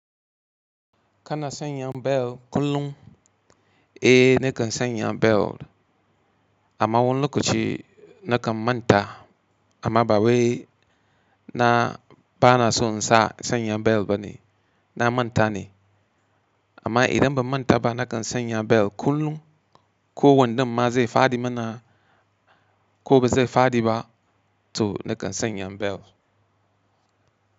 Kana sanya bel kullum? Eh, nakan sanya bel. Amma wani lokaci nakan manta. Amma ba wai na bana so in sa sanya bel ba ne, na manta ne. Amma idan ba manta ba nakan sanya bel kullum. Ko wanda maza ya fadi mana ko ba zai fadi ba to nakan sanya bel.